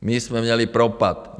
My jsme měli propad.